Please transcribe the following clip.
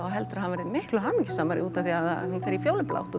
og heldur að hann verði miklu hamingjusamari út af því að hún fer í fjólublátt